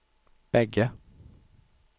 bägge